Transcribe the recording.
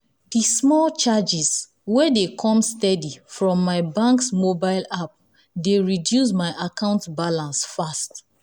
the small charges wey dey come steady from my bank's mobile app dey reduce my account balance fast.